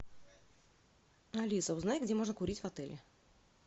алиса узнай где можно курить в отеле